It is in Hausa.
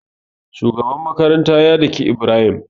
Shugaban makaranta ya dake ibrahim